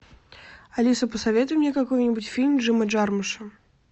алиса посоветуй мне какой нибудь фильм джима джармуша